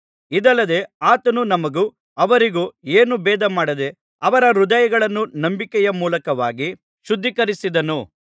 ಇದಲ್ಲದೆ ಆತನು ನಮಗೂ ಅವರಿಗೂ ಏನೂ ಭೇದಮಾಡದೆ ಅವರ ಹೃದಯಗಳನ್ನೂ ನಂಬಿಕೆಯ ಮೂಲಕವಾಗಿ ಶುದ್ಧೀಕರಿಸಿದನು